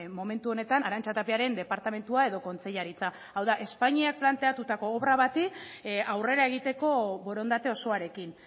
momentu honetan arantxa tapiaren departamentua edo kontseilaritza hau da espainiak planteatuko obra bati aurrera egiteko borondate osoarekin